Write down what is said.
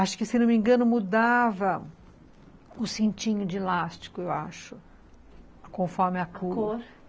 Acho que, se não me engano, mudava o cintinho de elástico, eu acho, conforme a cor. A cor!